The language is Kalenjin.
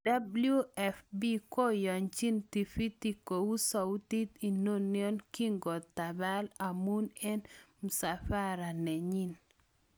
WFP koyachin tifiti kou sautit inano kokokitapal amun en msafsra nenyin